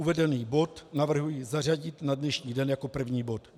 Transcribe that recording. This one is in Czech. Uvedený bod navrhuji zařadit na dnešní den jako první bod.